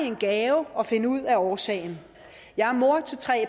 en gave at finde ud af årsagen jeg er mor til tre